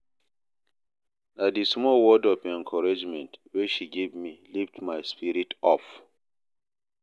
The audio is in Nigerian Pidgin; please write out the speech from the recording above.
Na di small word of encouragement wey she give me, lift my spirit up.